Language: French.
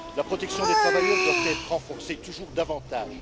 La protection des travailleurs doit être renforcée toujours davantage.